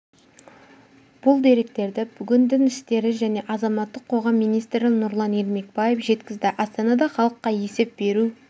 бұл деректерді бүгін дін істері және азаматтық қоғам министрі нұрлан ермекбаев жеткізді астанада халыққа есеп беру